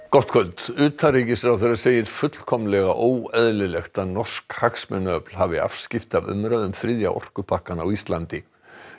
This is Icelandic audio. gott kvöld utanríkisráðherra segir fullkomlega óeðlilegt að norsk hagsmunaöfl hafi afskipti af umræðu um þriðja orkupakkann á Íslandi